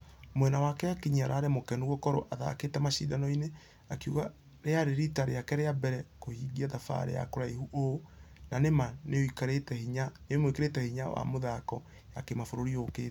Mwana wake akinyi ararĩ mũkenu gũkorwo athakĩte mashidano-inĩ akĩuga rĩare rita rĩake rĩa mbere kũhingq thabarĩ ya kũraihu Ũũ. Na nĩ ma nĩĩmũĩkĩrete hinya wa mĩthako ya kĩmabũrũri yokĩte.